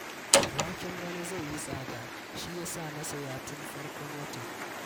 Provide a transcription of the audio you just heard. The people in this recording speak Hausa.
Waken bana zai yi tsada, shi ya sa na saya tun farkon wata